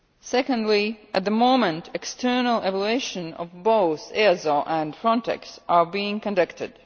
Secondly, at the moment external evaluations of both EASO and Frontex are being conducted.